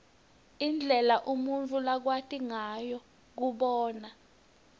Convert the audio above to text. indlela umuntfu lakwati ngayo kubona